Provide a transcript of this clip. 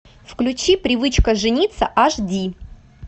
включи привычка жениться аш ди